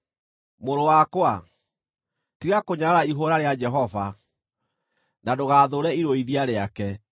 Mũrũ wakwa, tiga kũnyarara ihũũra rĩa Jehova, na ndũgathũũre irũithia rĩake,